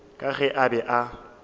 ka ge a be a